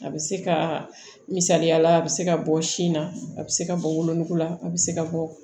A bɛ se ka misaliya la a bɛ se ka bɔ sin na a bɛ se ka bɔ wolonugu la a bɛ se ka bɔ